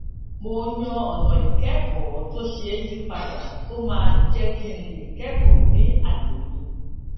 mo yan ònà ìkékòó tó ṣeé yí padà tó máa jé kí n lè kékòó ní àyè mi